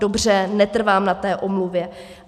Dobře, netrvám na té omluvě.